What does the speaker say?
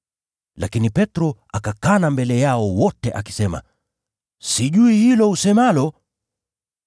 Lakini Petro akakana mbele yao wote akisema, “Sijui hilo usemalo.”